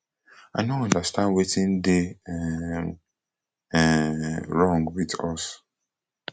i no understand wetin dey um um wrong wit us